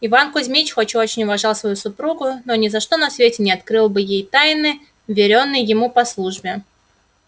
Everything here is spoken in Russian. иван кузмич хоть и очень уважал свою супругу но ни за что на свете не открыл бы ей тайны вверенной ему по службе